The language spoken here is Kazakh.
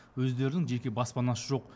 өздерінің жеке баспанасы жоқ